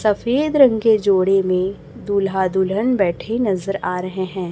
सफेद रंग के जोड़े में दूल्हा दुल्हन बैठे नजर आ रहे हैं।